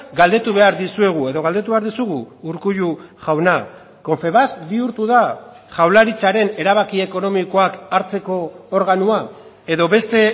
galdetu behar dizuegu edo galdetu behar dizugu urkullu jauna confebask bihurtu da jaurlaritzaren erabaki ekonomikoak hartzeko organoa edo beste